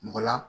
Mɔgɔ la